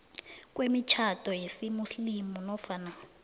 kwemitjhado yesimuslimu nofana